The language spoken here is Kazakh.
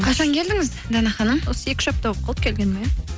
қашан келдіңіз дана ханым осы екі үш апта болып қалды келгеніме